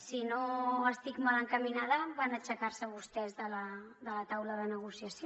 si no estic mal encaminada van aixecar se vostès de la taula de negociació